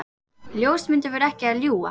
Ljósmyndirnar voru ekki að ljúga.